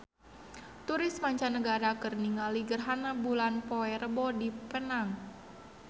Turis mancanagara keur ningali gerhana bulan poe Rebo di Penang